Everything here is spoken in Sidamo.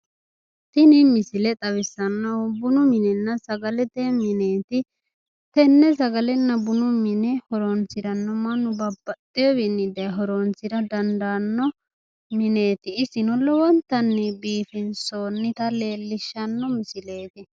Tini misile xawissanohu bununna sagalete mineeti. Tenne sagalete mine mannu babbaxxewowinni daaye horoonsiranno mineeti? Isino lowontanni biifinsonnita leelishshanno misileeti.